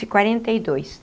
e quarenta e dois